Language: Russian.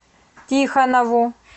тихонову